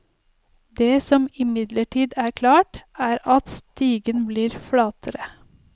Det som imidlertid er klart, er at stigen blir flatere.